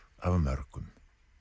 af mörgum